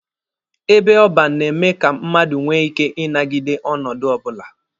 Ebe ọban na-eme ka mmadụ nwee ike inagide ọnọdụ ọbụla.